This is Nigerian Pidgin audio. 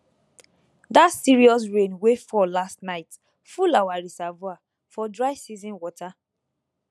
that serious rain wey fall last night full our reservoir for dry season water